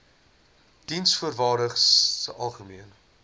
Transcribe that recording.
diensvoorwaardesalgemene